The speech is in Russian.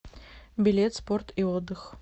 билет спорт и отдых